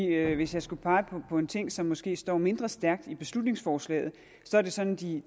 hvis jeg skulle pege på en ting som måske står mindre stærkt i beslutningsforslaget er det sådan de